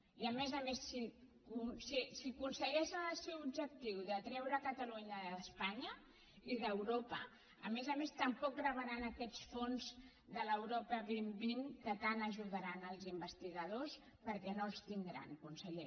i a més a més si aconsegueixen el seu objectiu de treure catalunya d’espanya i d’europa tampoc rebran aquests fons de l’europa dos mil vint que tant ajudaran els investigadors perquè no els tindran conseller